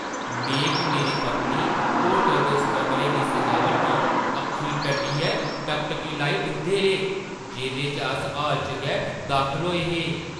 में ते मेरी पत्नी होटलै दे उस कमरे दी सजावट गी अक्खीं टड्डियै टकटकी लाई दिखदे रेह्, जेह्दे च अस हाल च गै दाखल होए हे।